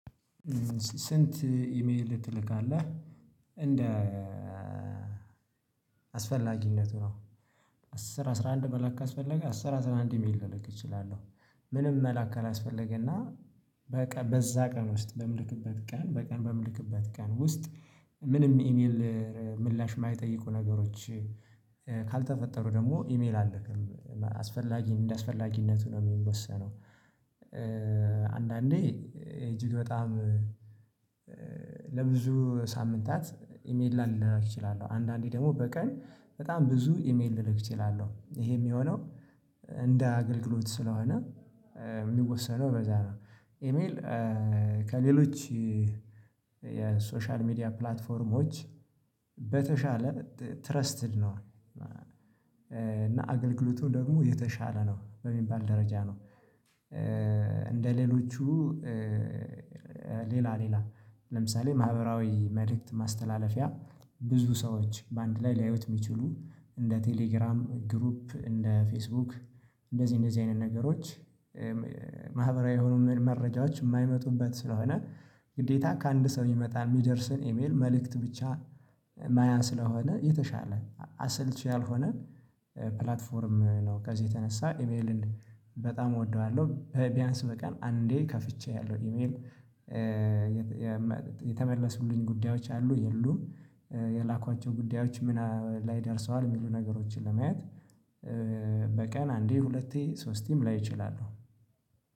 ስንት? ኢሜል ትልካለህ እንደ አስፈላጊነቱ ነው አስር አስራ አንድ መላክ ካስፈለገ አስር አስራ አንድ ኢሜል ልልክ እችላለሁ። ምንም መላክ ካላስፈለገና በቀ በዛ ቀን ውስጥ በምልክበት ቀን በቀን በምልክበት ቀን ውስጥ ምንም ኢሜል ምላሽ የማይጠይቁ ነገሮች ካልተፈጠሩ ደግሞ ኢሜል አልክም አስፈላጊ እንደ አስፈላጊነቱ ነው የሚወሰነው። አንዳንዴ እጅግ በጣም ለብዙ ሳምንታት ኢሜል ላልላላክ እችላለሁ አንዳንዴ ደግሞ በቀን በጣም ብዙ ኢሜል ልክ እችላለሁ ይሄ የሚሆነው። እንደ አገልግሎት ስለሆነ የሚወሰነው በዛ ነው ኢሜል ከሌሎች የሶሻል ሚዲያ ፕላትፎርሞች በተሻለ ትረስትድ ነው እና አገልግሎቱ ደግሞ የተሻለ ነው በሚባል ደረጃ ነው። እንደሌሎቹ ሌላ ሌላ ለምሳሌ ማህበራዊ መልእክት ማስተላለፊያ ብዙ ሰዎች በአንድ ላይ ሊያዩት የሚችሉ እንደ ቴሌግራም ግሩፕ እንደ ፌስቡክ እንደዚህ እንደዚህ አይነት ነገሮች። ማህበራዊ የሆኑ መረጃዎች የማይመጡበት ስለሆነ ግዴታ ከአንድ ሰው ሚመጣል የሚደርስን ኢሜል መልእክት ብቻ ማያ ስለሆነ የተሻለ አሰልቺ ያልሆነ ፕላትፎርም ነው። ከዚህ የተነሳ ኢሜልን በጣም እወደዋለሁ ቢያንስ በቀን አንዴ ከፍቼ አያለሁ ኢሜል። የተመለሱልኝ ጉዳዮች አሉ የሉም የላክኋቸው ጉዳዮች ምን ላይ ደርሰዋል የሚሉ ነገሮችን ለማየት። በቀን አንዴ ሁለቴ ሶስቴም ላይ እችላለሁ።